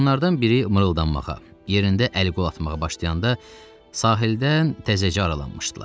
Meymunlardan biri mırıldanmağa, yerində əl-qol atmağa başlayanda sahildən təzəcə aralanmışdılar.